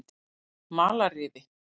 Malarrifi